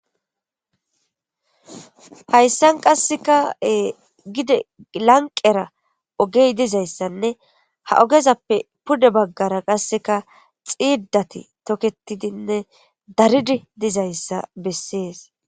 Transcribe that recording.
Hayssan qasseka gede lanqera ogey dizaysanne, ha ogezappe pude baggara qasseka xiidati tokketidinne daridi dizaysa bessees.